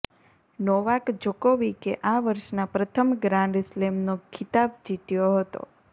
Novak જોકોવિકે આ વર્ષના પ્રથમ ગ્રાન્ડ સ્લેમનો ખિતાબ જીત્યો હતો